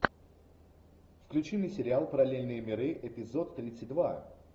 включи мне сериал параллельные миры эпизод тридцать два